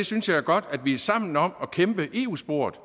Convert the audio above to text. synes det er godt at vi er sammen om at kæmpe i eu sporet